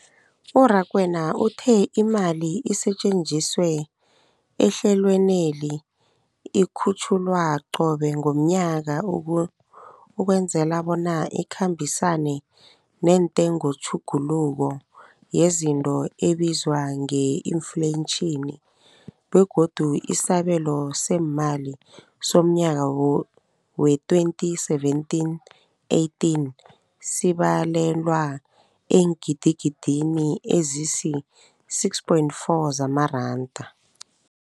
U-Rakwena uthe imali esetjenziswa ehlelweneli ikhutjhulwa qobe ngomnyaka ukwenzela bona ikhambisane nentengotjhuguluko yezinto ebizwa nge-infleyitjhini, begodu isabelo seemali somnyaka we-2017, 18 sibalelwa eengidigidini ezisi-6.4 zamaranda.